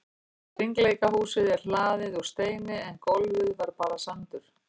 Hringleikahúsið er hlaðið úr steini en gólfið var bara sandur.